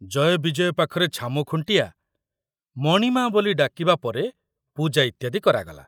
ଜୟବିଜୟ ପାଖରେ ଛାମୁଖୁଣ୍ଟିଆ ' ମଣିମା ' ବୋଲି ଡାକିବା ପରେ ପୂଜା ଇତ୍ୟାଦି କରାଗଲା।